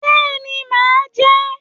Béeni, máa jẹ́